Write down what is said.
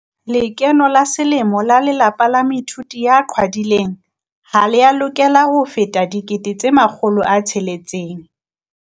Lekeno la selemo la lelapa la moithuti ya qhwadileng ha lea lokela ho feta R600 000.